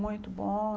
Muito bom.